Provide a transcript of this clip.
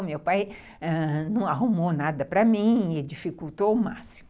O meu pai ãh não arrumou nada para mim e dificultou o máximo.